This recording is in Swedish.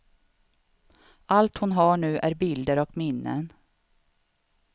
Allt hon har nu är bilder och minnen.